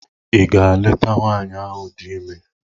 Ị gaa leta Nwaanyị ahụ di ime?